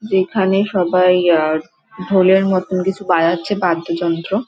এখানে সবাই আহ ঢোলের মতন কিছু বাজাচ্ছে বাদ্যযন্ত্র।